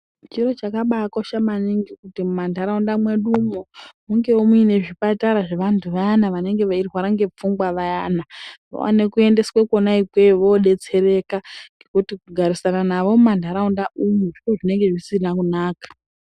Chiro chakabakosha maningi kuti mumantaraunda mwedumwo mungewo muine zvipatara zvevantu vayana vanenge veirwara ngepfungwa vayana vaone kuendesa kwona ikweyo vodetsereka ngekuti kugarisana navo mumantaraunda umwu zviro zvinenge zvisina kunaka.